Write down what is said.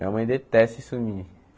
Minha mãe detesta isso em mim.